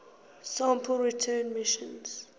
sample return missions